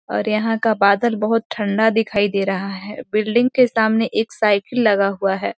और यहाँ का बादल बहुत ठंडा दिखाई दे रहा है बिल्डिंग के सामने एक साइकिल लगा हुआ है।